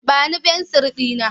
Ba ni fensir ɗina!